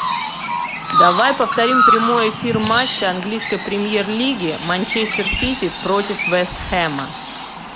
давай повторим прямой эфир матча английской премьер лиги манчестер сити против вест хэма